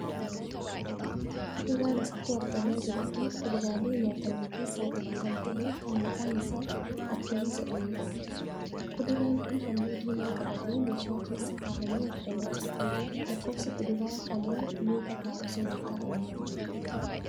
Kuduraan asirratti argamaa jiru kun kuduraalee nyaataman keessaa tokko kan tahee kan maqaan isaa Aappilii jedhamuudha. Kuduraan kun halluu diimaa qabatee meeshaa keessa kahamee argamaa jira. lakkoofsi kuduraa kanaa meeqa taha osoo lakka'aamee?